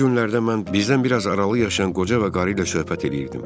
Bu günlərdə mən bizdən biraz aralı yaşayan qoca və qarı ilə söhbət eləyirdim.